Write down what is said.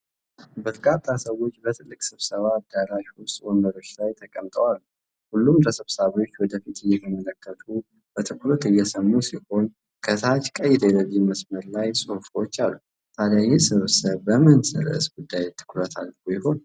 በርካታ ሰዎች በትልቅ ስብሰባ አዳራሽ ውስጥ ወንበሮች ላይ ተቀምጠው አሉ። ሁሉም ተሰብሳቢዎች ወደፊት እየተመለከቱ በትኩረት እየሰሙ ሲሆን፣ ከታች ቀይ ቴሌቪዥን መስመር ላይ ፅሁፎች አሉ። ታዲያ ይህ ስብሰባ በምን ርዕሰ ጉዳይ ላይ ትኩረት አድርጎ ይሆን?